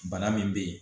Bana min bɛ yen